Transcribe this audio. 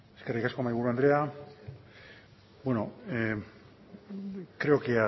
eskerrik asko mahaiburu andrea bueno creo que en